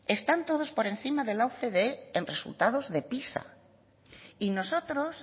están todos por encima de la ocde en resultados de pisa y nosotros